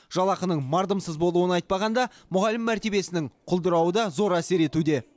жалақының мардымсыз болуын айтпағанда мұғалім мәртебесінің құлдырауы да зор әсер етуде